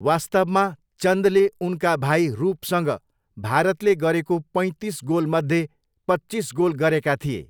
वास्तवमा, चन्दले उनका भाइ रूपसँग भारतले गरेको पैँतिस गोलमध्ये पच्चिस गोल गरेका थिए।